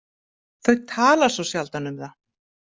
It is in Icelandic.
Þau tala svo sjaldan um það.